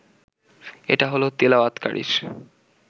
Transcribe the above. এটা হলো তিলাওয়াতকারীর